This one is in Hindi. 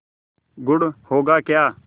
गुड़ होगा क्या